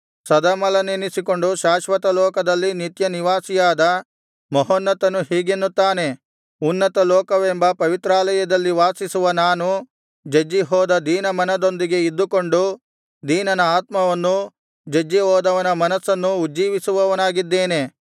ಸದಮಲನೆನಿಸಿಕೊಂಡು ಶಾಶ್ವತಲೋಕದಲ್ಲಿ ನಿತ್ಯನಿವಾಸಿಯಾದ ಮಹೋನ್ನತನು ಹೀಗೆನ್ನುತ್ತಾನೆ ಉನ್ನತಲೋಕವೆಂಬ ಪವಿತ್ರಾಲಯದಲ್ಲಿ ವಾಸಿಸುವ ನಾನು ಜಜ್ಜಿಹೋದ ದೀನಮನದೊಂದಿಗೆ ಇದ್ದುಕೊಂಡು ದೀನನ ಆತ್ಮವನ್ನೂ ಜಜ್ಜಿಹೋದವನ ಮನಸ್ಸನ್ನೂ ಉಜ್ಜೀವಿಸುವವನಾಗಿದ್ದೇನೆ